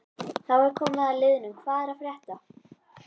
Þá er komið að liðnum Hvað er að frétta?